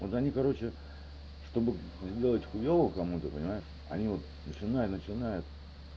да они короче чтобы сделать хуёво кому ты понимаешь они вот начинают начинают